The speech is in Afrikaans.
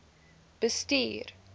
bestuur